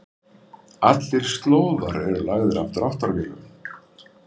Allir slóðar eru lagðir af dráttarvélum.